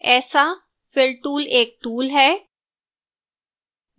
ऐसा fill tool एक tool है